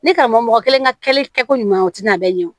Ne karamɔgɔ kelen ka kɛli kɛ ko ɲuman ye o tina a bɛɛ ɲɛ o